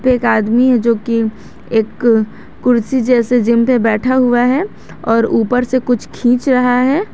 एक आदमी है जो कि एक कुर्सी जैसे जिम पे बैठा हुआ है और ऊपर से कुछ खींच रहा है।